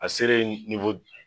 A sere